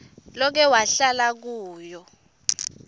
loke wahlala kuwo